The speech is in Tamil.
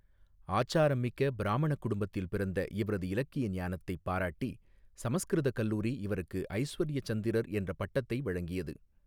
ஆச்சாரமிக்க பிராமணக் குடும்பத்தில் பிறந்த இவரது இலக்கிய ஞானத்தை பாராட்டி சமஸ்கிருத கல்லூரி இவருக்கு ஐஸ்வர்ய சந்திரர் என்ற பட்டத்தை வழங்கியது.